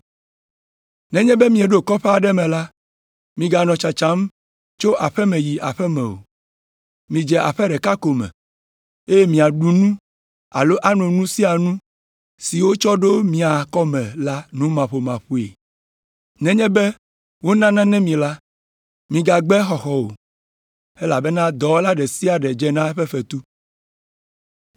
“Nenye be mieɖo kɔƒe aɖe me la, miganɔ tsatsam tso aƒe me yi aƒe me o, midze aƒe ɖeka ko me, eye miaɖu nu alo ano nu sia nu si wotsɔ ɖo mia kɔme la numaƒomaƒoe. Nenye be wona nane mi la, migagbe exɔxɔ o, elabena dɔwɔla ɖe sia ɖe dze na eƒe fetu.